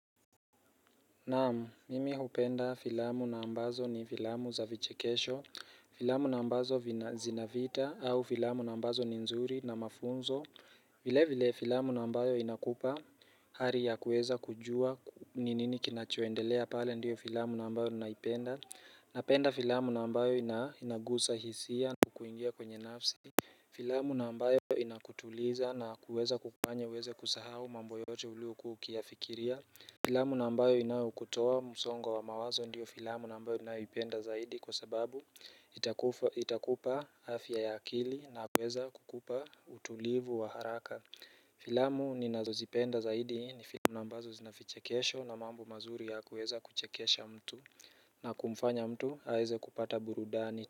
Naam, mimi hupenda filamu na ambazo ni filamu za vichekesho Filamu na ambazo zinavita au filamu na ambazo ni nzuri na mafunzo vile vile filamu na ambayo inakupa Hali ya kuweza kujua ninini kinachoendelea pale ndiyo filamu na ambayo ninaipenda Napenda filamu na ambayo inagusa hisia na kuingia kwenye nafsi Filamu na ambayo inakutuliza na kuweza kukufanye uweze kusahau mambo yote ulio kuwa ukiyafikiria Filamu na ambayo inayo kutoa musongo wa mawazo ndiyo filamu na ambayo ninayo ipenda zaidi kwa sababu itakufa itakupa afya ya akili na kuweza kukupa utulivu wa haraka Filamu ninazo zipenda zaidi ni filamu na ambazo zinavichekesho na mambo mazuri ya kuweza kuchekesha mtu na kumfanya mtu aeze kupata burudani.